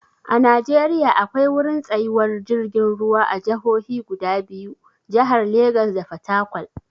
A Najeriya akwai wurin tsayuwar jirgin ruwa a jahohi guda biyu, jahar Legas da Fatakwal.